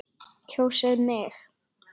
Kjósið mig!